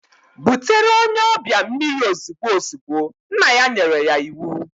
Butere onye obia mmiri ozigbo ozigbo, nna ya nyere ya iwu.